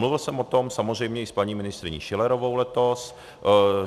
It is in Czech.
Mluvil jsem o tom samozřejmě i s paní ministryní Schillerovou letos.